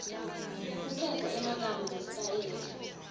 kukhetsa emagama nesitayela